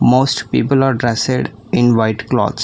Most people are dressed in white clothes.